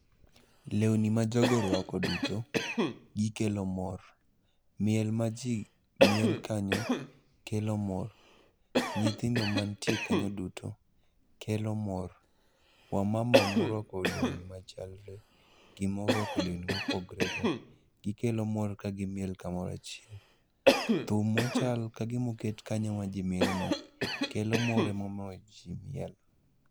Lewni ma jogo orwako duto gikelo mor. Miel ma ji miel kanyo kelo mor, nyithindo mantie kanyo duto kelo mor. Wamama morwako lewni machalre gi morwako lewni mopogre go gikelo mor ka gimiel kamorachiel. Thum mochal kagimoket kanyo majimielono, kelo mor emono ji miel.